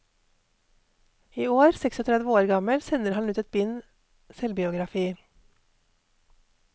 I år, seksogtredve år gammel, sender han ut et bind selvbiografi.